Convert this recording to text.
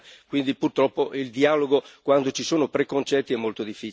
purtroppo il dialogo, quando ci sono preconcetti, è molto difficile.